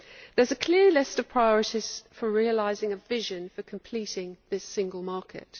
There is a clear list of priorities for realising a vision for completing this single market.